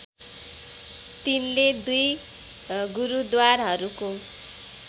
तिनले दुई गुरुद्वारहरूको